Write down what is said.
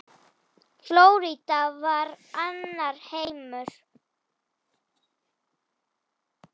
Flórída var annar heimur.